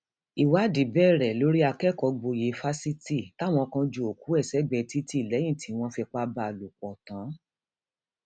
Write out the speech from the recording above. ìwádìí bẹrẹ lórí akẹkọọgboyè fásitì táwọn kan ju òkú ẹ sẹgbẹẹ títì lẹyìn tí wọn fipá bá a lòpọ tán